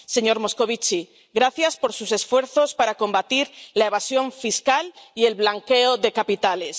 Señor Moscovici, gracias por sus esfuerzos para combatir la evasión fiscal y el blanqueo de capitales.